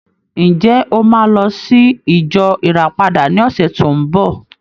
Ǹjẹ́, o máa lọ sí ìjọ Ìràpadà ní ọ̀sẹ̀ tó ń bọ̀?